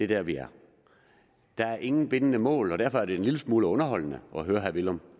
der vi er der er ingen bindende mål og derfor er det en lille smule underholdende at høre herre villum